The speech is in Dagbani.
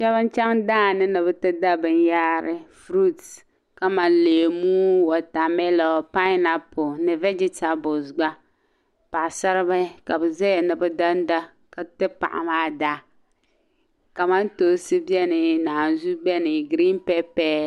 shɛba n-chaŋ daa ni ni bɛ da binyɛhari furuuti kamani leemu watamilo painapuli ni vɛgitabulisi gba paɣisaribihi ka bɛ zaya ni bɛ danda ka ti paɣa maa daa kamantoosi beni naazua beni girin pɛpɛ